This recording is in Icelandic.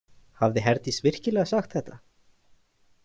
Hafði Herdís virkilega sagt þetta?